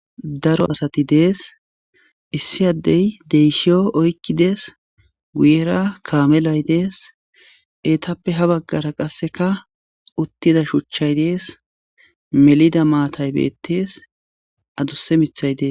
Daro asathi de7ees; issi addee deeshshiyo oykki des; guyera kaamelay des; eethape ha baggara qassika uththida shuchchay des; melida maathay beeththees; adussa miththey dees.